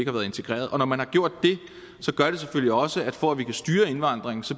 har været integreret og når man har gjort det gør det selvfølgelig også at vi for at vi kan styre indvandringen